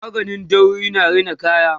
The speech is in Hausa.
maganin dauri na Rina kaya